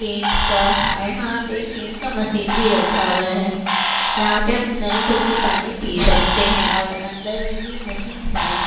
Kent का और यहाँ पे केंट का मशीन भी रखा हुआ है जहाँ पर हम नल खोल के पानी पी सकते हैं और अंदर में भी मशीन है।